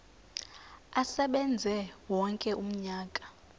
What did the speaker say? asebenze wonke umnyaka